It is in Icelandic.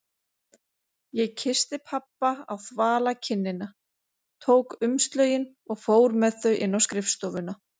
Ég kyssti pabba á þvala kinnina, tók umslögin og fór með þau inn á skrifstofuna.